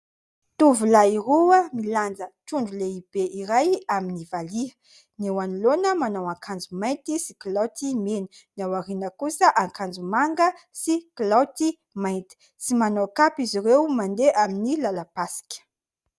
Tovolahy roa milanja tondro lehibe iray amin'ny valia ; ny eo anoloana manao akanjo mainty sy kilaoty mena ; ny ao aoriana kosa akanjo manga sy kilaoty mainty, tsy manao kapa izy ireo mandeha amin'ny lalam-pasika.